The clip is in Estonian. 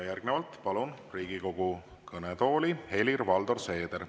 Järgnevalt palun Riigikogu kõnetooli Helir-Valdor Seederi.